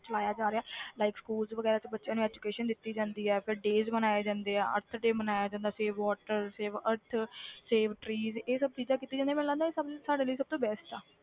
ਚਲਾਇਆ ਜਾ ਰਿਹਾ like schools ਵਗ਼ੈਰਾ 'ਚ ਬੱਚਿਆਂ ਨੂੰ education ਦਿੱਤੀ ਜਾਂਦੀ ਹੈ ਫਿਰ days ਮਨਾਏ ਜਾਂਦੇ ਆ earth day ਮਨਾਇਆ ਜਾਂਦਾ save water save earth save tree ਇਹ ਸਭ ਚੀਜ਼ਾਂ ਕੀਤੀਆਂ ਜਾਂਦੀਆਂ, ਮੈਨੂੰ ਲੱਗਦਾ ਇਹ ਸਭ ਸਾਡੇ ਲਈ best ਹੈ